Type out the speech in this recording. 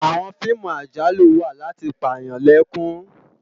Àwòn fiimú àjálú wá làti pá yán lèkún